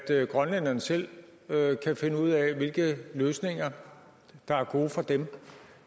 til at grønlænderne selv kan finde ud af hvilke løsninger der er gode for dem